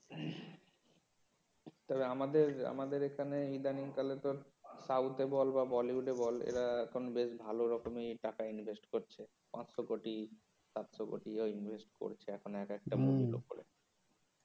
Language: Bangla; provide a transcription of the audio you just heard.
তবে আমাদের এখানে ইদানিংকালে তোর সউথে বল বা তোর বলিউডে বল এরা এখন বেশ ভালো রকমেরই টাকা invest করছে পাঁচশো কোটি সাতশো কোটি ও invest করছে এক একটা মুভির উপর